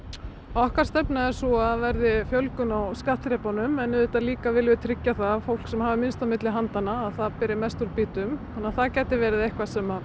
okkar stefna er sú að það verði fjölgun á skattþrepunum en auðvitað líka viljum við tryggja það að fólk sem hefur minnst á milli handanna að það beri mest úr býtum að það gæti verið eitthvað sem